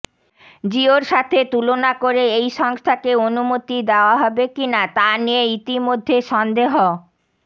জিয়োর সাথে তুলনা করে এই সংস্থাকে অনুমতি দেওয়া হবে কি না তা নিয়ে ইতিমধ্যে সন্দেহ